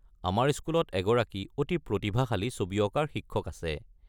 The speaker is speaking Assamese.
আমাৰ স্কুলত এগৰাকী অতি প্ৰতিভাশালী ছবি অঁকাৰ শিক্ষক আছে।